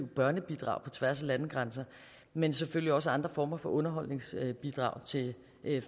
børnebidrag på tværs af landegrænser men selvfølgelig også andre former for underholdsbidrag til